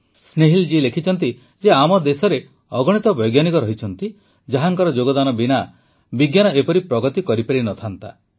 ସ୍ନେହିଲ୍ ଜୀ ଲେଖିଛନ୍ତି ଯେ ଆମ ଦେଶର ଅଗଣିତ ବୈଜ୍ଞାନିକ ଅଛନ୍ତି ଯାହାଙ୍କ ଯୋଗଦାନ ବିନା ବିଜ୍ଞାନ ଏପରି ପ୍ରଗତି କରିପାରିଥାନ୍ତା